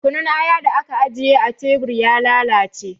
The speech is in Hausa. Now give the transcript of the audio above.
Kunun aya da aka ajiye a tebur ya lalace